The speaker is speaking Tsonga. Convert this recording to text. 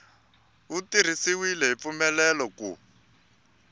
wu tirhisiwile hi mfanelo ku